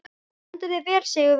Þú stendur þig vel, Sigurvina!